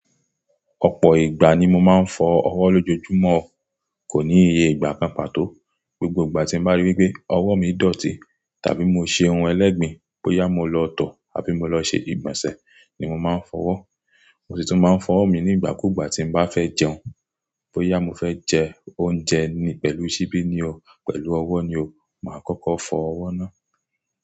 Ọ̀pọ̀ ìgbà ni mo máa ń fọ ọwọ́ lójoojúmọ́, kò ní iye ìgbà pàpà tó. Gbogbo ìgbà tí mo bá ríi wí pé ọwọ́ mi dọ̀tí tàbí mo ṣe ohun ẹlẹ́gbìn, bóyá mo lọ tọ̀ àbí mo lọ ṣe ìgbọ̀nsẹ̀ ni mo máa ń fọ ọwọ́. Mo sì tún máa ń fọ ọwọ́ mi nígbà kúùgbà tí n bá fẹ́ jẹun. Bóyá mo fẹ́ jẹ oúnjẹ pẹ̀lú ṣíbí ni o, pẹ̀lú ọwọ́ ni o, màá kọ́kọ́ fọ ọwọ́ náà.